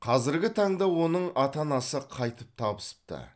қазіргі таңда оның ата анасы қайтып табысыпты